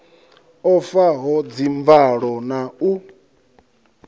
o faho dzimvalo na u